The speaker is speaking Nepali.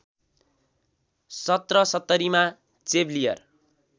१७७० मा चेवलियर